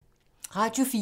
Radio 4